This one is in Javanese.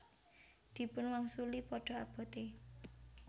Dipun wangsuli Padha abote